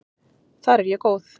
Þar er ég góð.